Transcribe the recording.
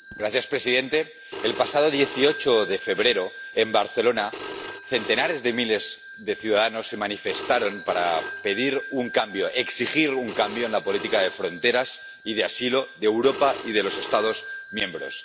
Señor presidente, el pasado 18 de febrero, en Barcelona, centenares de miles de ciudadanos se manifestaron para pedir un cambio, exigir un cambio, en la política de fronteras y de asilo de Europa y de los Estados miembros.